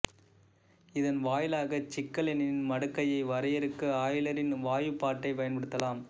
இதன் வாயிலாகச் சிக்கலெண்ணின் மடக்கையை வரையறுக்க ஆய்லரின் வாய்ப்பாட்டைப் பயன்படுத்தலாம்